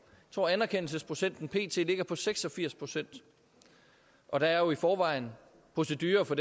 tror at anerkendelsesprocenten pt ligger på seks og firs procent og der er jo i forvejen procedure for